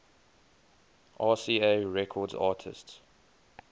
rca records artists